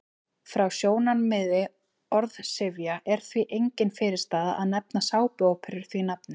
Frá sjónarmiði orðsifja er því engin fyrirstaða að nefna sápuóperur því nafni.